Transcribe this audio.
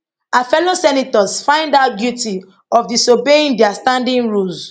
her fellow senators find her guilty of disobeying dia standing rules